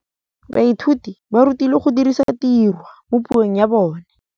Baithuti ba rutilwe go dirisa tirwa mo puong ya bone.